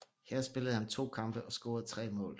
Her spillede han to kampe og scorede tre mål